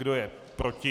Kdo je proti?